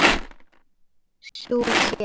Sú hét